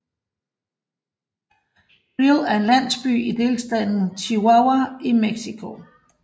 Creel er en landsby i delstaten Chihuahua i Mexico